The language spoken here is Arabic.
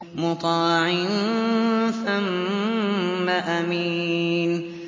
مُّطَاعٍ ثَمَّ أَمِينٍ